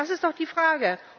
Das ist doch die Frage!